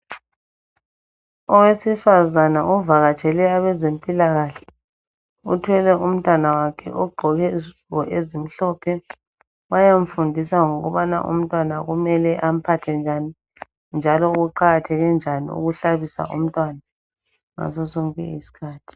Owesifazana ovakatshele abezempilakahle ,uthwele umntwana wakhe ogqeke izigqoko ezimhlophe .Bayamfundisa ngokubana umntwana kumele amphathe njani ,njalo kuqakatheke njani ukuhlabisa umntwana ngaso sonke isikhathi.